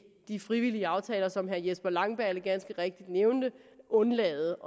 de frivillige aftaler som herre jesper langballe ganske rigtigt nævnte altså at undlade